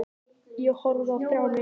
Ég horfði á þrjár myndir.